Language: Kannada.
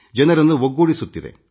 ಜನರನ್ನು ಒಗ್ಗೂಡಿಸುತ್ತಿದೆ